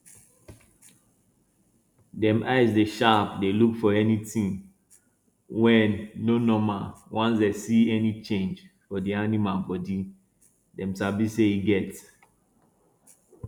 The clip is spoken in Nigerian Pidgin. dem eye dey sharp dey look for anytin wey no normal once dem see any change for di animal bodi dem sabi say e get